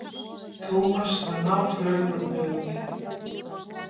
Tómas var náfölur og þögull.